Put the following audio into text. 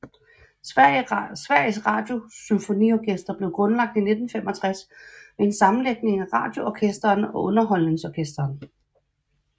Sveriges Radios Symfoniorkester blev grundlagt i 1965 ved en sammenlægning af Radioorkestern og Underhållningsorkestern